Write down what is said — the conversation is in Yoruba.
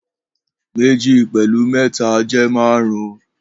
Meji pẹlu mẹta jẹ márún